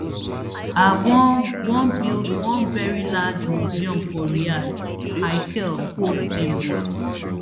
i wan wan build one very large museum for riyadh haykel quote mbs